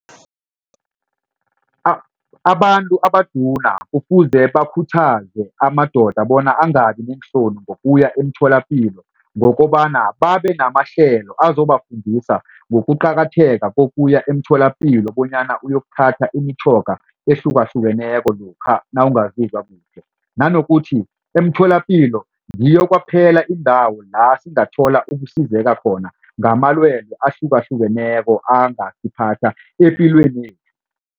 Abantu abaduna kufuze bakhuthaze amadoda bona angabi neenhloni ngokuya emtholapilo ngokobana babe namahlelo azobafundisa ngokuqakatheka kokuya emtholapilo bonyana uyokuthatha imitjhoga ehlukahlukeneko lokha nawungazizwa kuhle. Nanokuthi emtholapilo ngiyo kwaphela indawo la singathola ukusizeka khona ngamalwelwe ahlukahlukeneko angasiphatha